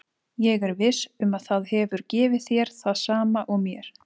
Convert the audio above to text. Ég er viss um að það hefur gefið þér það sama og mér.